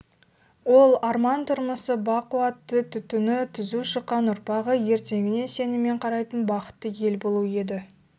ол арман тұрмысы бақуатты түтіні түзу шыққан ұрпағы ертеңіне сеніммен қарайтын бақытты ел болу еді